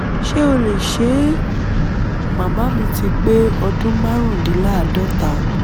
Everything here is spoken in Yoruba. Ṣé ó lè ṣe é? màmá mi ti pé ọdún márùndínláàádọ́ta